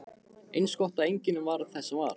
Eins gott að enginn varð þess var!